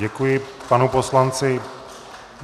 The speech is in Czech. Děkuji panu poslanci.